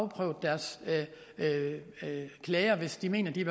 prøvet deres klager hvis de mener de er